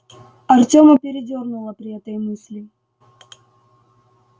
артема передёрнуло при этой мысли